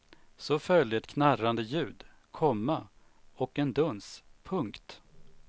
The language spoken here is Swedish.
Så följde ett knarrande ljud, komma och en duns. punkt